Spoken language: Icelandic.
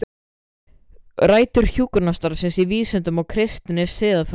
Rætur hjúkrunarstarfsins í vísindum og kristinni siðfræði